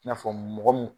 I n'a fɔ mɔgɔ min